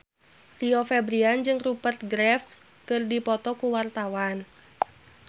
Rio Febrian jeung Rupert Graves keur dipoto ku wartawan